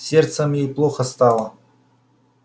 с сердцем ей плохо стало